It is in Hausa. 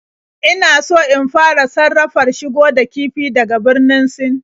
Ina so in fara safarar shigo da kifi daga Birnin Sin